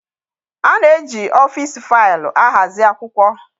A na-eji ọfịs faịlụ ahazi akwụkwọ.